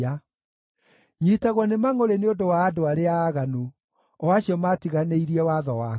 Nyiitagwo nĩ mangʼũrĩ nĩ ũndũ wa andũ arĩa aaganu, o acio maatiganĩirie watho waku.